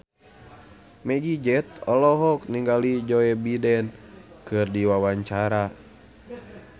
Meggie Z olohok ningali Joe Biden keur diwawancara